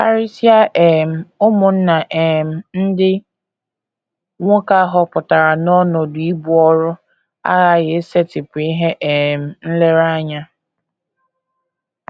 Karịsịa um ụmụnna um ndị nwoke a họpụtara n’ọnọdụ ibu ọrụ aghaghị isetịpụ ihe um nlereanya.